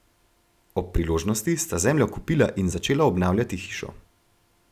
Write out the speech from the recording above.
Ob priložnosti sta zemljo kupila in začela obnavljati hišo.